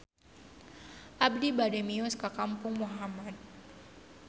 Abi bade mios ka Kampung Mahmud